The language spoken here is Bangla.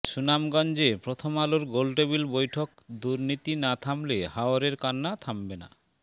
সুনামগঞ্জে প্রথম আলোর গোলটেবিল বৈঠক দুর্নীতি না থামলে হাওরের কান্না থামবে না